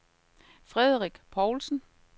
Frederik Povlsen